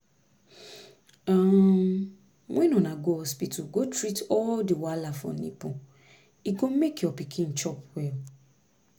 um when una go hospital go treat all the wahala for nipple e go make your pikin chop well